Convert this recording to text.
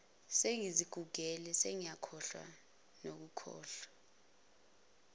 sengizigugele sengiyashesha nokukhohlwa